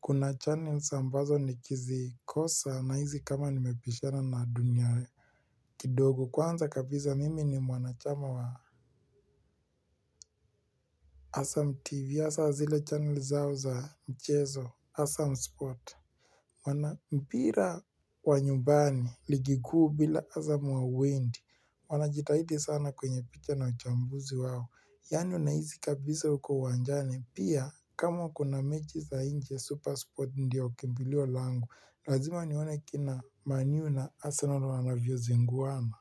Kuna channels ambazo nikizikosa nahisi kama nimebishana na dunia kidogo kwanza kabisa mimi ni mwanachama wa Assam tv hasa zile channel zao za mchezo Assam sport wana mpira wa nyumbani ligi kuu bila azamu hauendi wanajitahidi sana kwenye picha na uchambuzi wao. Yaani unahisi kabisa uko uwanjani. Pia kama kuna mechi za nje super sport ndio kimbilio langu. Lazima nione kina Man U na Arsenal wanavyozinguana.